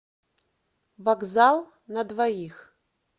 вокзал на двоих